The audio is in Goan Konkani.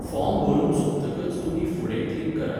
फॉर्म भरून सोंपतकच तुमी 'फुडें' क्लिक करात.